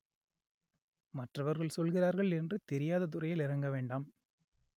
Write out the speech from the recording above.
மற்றவர்கள் சொல்கிறார்கள் என்று தெரியாத துறையில் இறங்க வேண்டாம்